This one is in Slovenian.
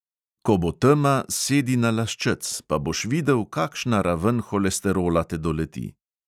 Ko bo tema, sedi na laščec, pa boš videl, kakšna raven holesterola te doleti.